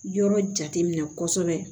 Yɔrɔ jate minɛ kosɛbɛ